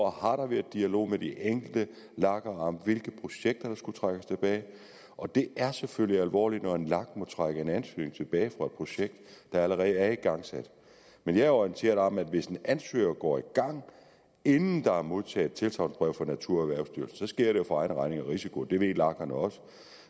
har der været dialog med de enkelte lager om hvilke projekter der skulle trækkes tilbage og det er selvfølgelig alvorligt når en lag må trække en ansøgning tilbage fra et projekt der allerede er igangsat men jeg er orienteret om at hvis en ansøger går i gang inden der er modtaget tilsagnsbrev fra naturerhvervsstyrelsen sker det jo for egen regning og risiko det ved lagerne også